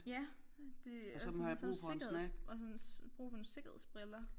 Ja det er sådan sikkerheds og sådan brug for nogle sikkerhedsbriller